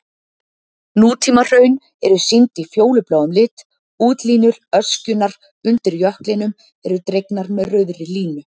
Nútímahraun eru sýnd í fjólubláum lit, útlínur öskjunnar undir jöklinum eru dregnar með rauðri línu.